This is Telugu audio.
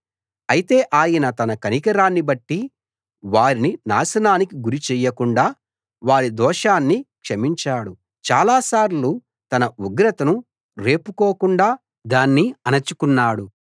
అయితే ఆయన తన కనికరాన్ని బట్టి వారిని నాశనానికి గురి చేయకుండా వారి దోషాన్ని క్షమించాడు చాలాసార్లు తన ఉగ్రతను రేపుకోకుండా దాన్ని అణచుకున్నాడు